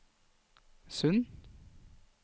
Sund